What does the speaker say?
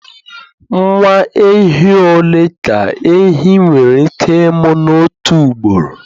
Nwa ehi ole ka ehi nwere ike ịmụ n'otu ugboro